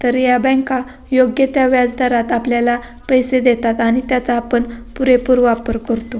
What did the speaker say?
तर या बँका योग्य त्या व्याजदरात आपल्याला पैसे देतात आणि त्याचा आपण पुरेपूर वापर करतो.